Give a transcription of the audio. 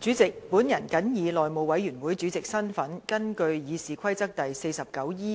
主席，本人謹以內務委員會主席的身份，根據《議事規則》第